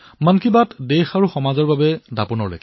মন কী বাত দেশ আৰু সমাজৰ বাবে এক দাপোণৰ দৰে